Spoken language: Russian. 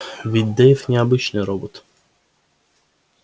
ведь дейв не обычный робот